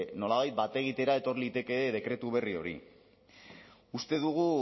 nolabait bat egitera etor liteke dekretu berri hori uste dugu